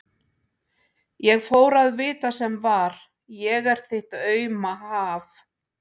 Ég fór að vita sem var: ég er þitt auma haf.